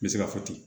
N bɛ se ka fɔ ten